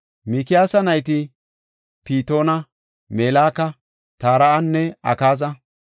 Mikiyaasa nayti Pitoona, Meleka, Tare7anne Akaaza.